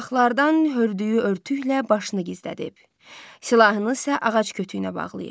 Budaqlardan hörlüyü örtüklə başını gizlədib, silahını isə ağac kütüyünə bağlayıb.